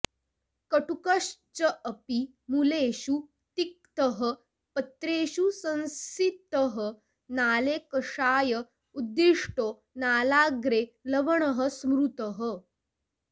कटुकश्चापि मूलेषु तिक्तः पत्रेषु संस्थितः नाले कषाय उद्दिष्टो नालाग्रे लवणः स्मृतः